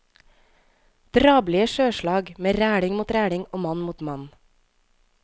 Drabelige sjøslag med reling mot reling og mann mot mann.